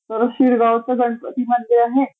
तर शिरगावचं गणपती मंदिर आहे